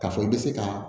K'a fɔ i bɛ se ka